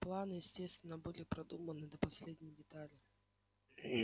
планы естественно были продуманы до последней детали